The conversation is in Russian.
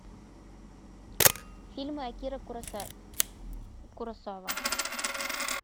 фильмы акиры куросава